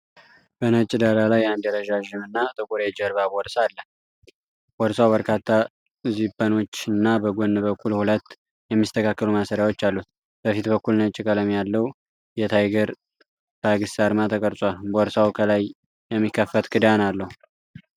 በነጭ ዳራ ላይ አንድ ረዣዥም እና ጥቁር የጀርባ ቦርሳ አለ። ቦርሳው በርካታ ዚፐሮች እና በጎን በኩል ሁለት የሚስተካከሉ ማሰሪያዎች አሉት። በፊት በኩል ነጭ ቀለም ያለው የታይገር ባግስ አርማ ተቀርጿል። ቦርሳው ከላይ የሚከፈት ክዳን አለው፡፡